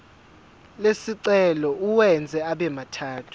lesicelo uwenze abemathathu